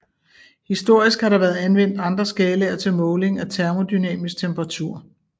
Historisk har der været anvendt andre skalaer til måling af termodynamisk temperatur